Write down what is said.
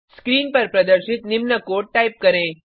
screen पर प्रदर्शित निम्न कोड टाइप करें